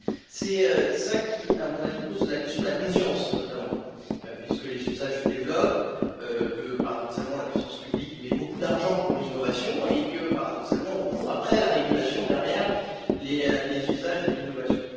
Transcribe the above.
C'est cela qui, à mon avis, pose la question de la confiance, notamment, puisque les usages se développent, que, paradoxalement, la puissance publique met beaucoup d'argent pour l'innovation et que, paradoxalement, on court après la régulation, derrière les usages et l'innovation.